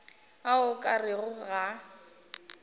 a o ka rego ga